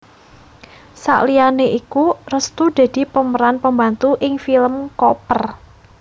Saliyané iku Restu dadi pemeran pembantu ing film Koper